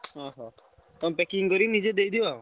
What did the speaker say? ଅଁହ ତମେ packing କରି ନିଯେ ଦେଇଦିଅ?